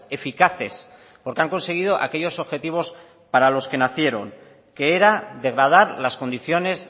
eficaces porque han conseguido aquellos objetivos para los que nacieron que era degradar las condiciones